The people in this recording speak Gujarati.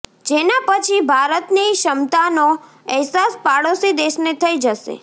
જેના પછી ભારતની ક્ષમતાનો અહેસાસ પાડોશી દેશને થઇ જશે